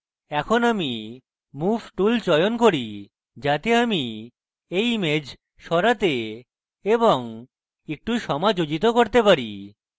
এখন আমি move tool চয়ন করি যাতে আমি এই image সরাতে এবং একটু সমাযোজিত করতে পারি